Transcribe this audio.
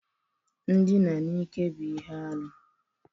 Ndina n'ike bụ ihe arụ.